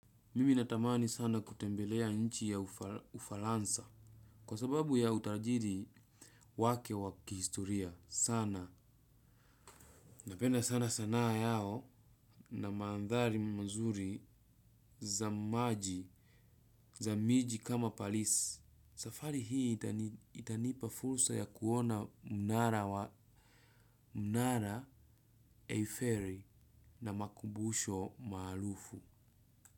Mimi natamani sana kutembelea inchi ya ufaransa kwa sababu ya utajiri wake wa kihistoria sana. Napenda sana sanaa yao, na mandhari mazuri za maji, za miji kama Paris. Safari hii itanipa fursa ya kuona mnara eifeli na makumbusho maarufu.